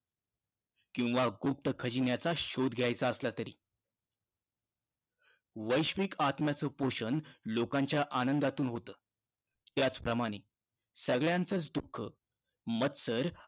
किंवा गुप्त खजिन्याचा शोध घ्यायचा असला तरी. वैश्विक आत्म्याचं पोषण लोकांच्या आनंदातून होतं. त्याचप्रमाणे, सगळ्यांचचं दुःख, मत्सर